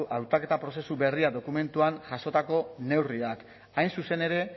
hautaketa prozesu berria dokumentuan jasotako neurriak hain zuzen ere